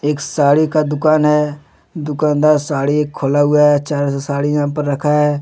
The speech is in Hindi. एक साड़ी का दुकान है दुकानदार साड़ी एक खोला हुआ है चारो से साड़ी यहाँ पर रखा है।